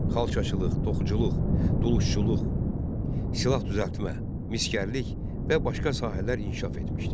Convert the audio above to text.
Xalçaçılıq, toxuculuq, dulusçuluq, silah düzəltmə, misgərlik və başqa sahələr inkişaf etmişdi.